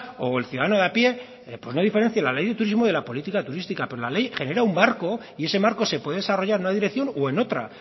o el ciudadano de a pie pues no diferencia la ley de turismo de la política turística pero la ley genera un marco y ese marco se puede desarrollar en una dirección o en otra